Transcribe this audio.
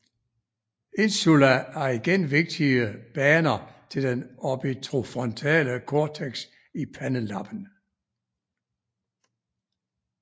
Insula har igen vigtige baner til den orbitofrontale cortex i pandelappen